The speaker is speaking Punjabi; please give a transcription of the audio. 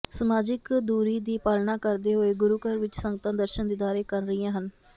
ਸਮਾਜਿਕ ਦੂਰੀ ਦੀ ਪਾਲਣਾ ਕਰਦੇ ਹੋਏ ਗੁਰੂ ਘਰ ਵਿੱਚ ਸੰਗਤਾਂ ਦਰਸ਼ਨ ਦੀਦਾਰੇ ਕਰ ਰਹੀਆਂ ਹਨ